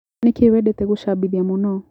Nĩkĩ wendete gũcabithia mũno.